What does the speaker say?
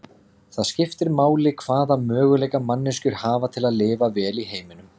Það skiptir máli hvaða möguleika manneskjur hafa til að lifa vel í heiminum.